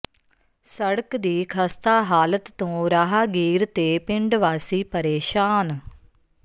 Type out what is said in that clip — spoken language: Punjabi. ਸੜਕ ਦੀ ਖਸਤਾ ਹਾਲਤ ਤੋਂ ਰਾਹਗੀਰ ਤੇ ਪਿੰਡ ਵਾਸੀ ਪਰੇਸ਼ਾਨ